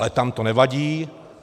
Ale tam to nevadí.